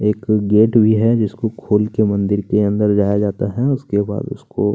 एक गेट भी है जिसको खोलकर मंदिर के अंदर जाया जाता है उसके बाद उसको --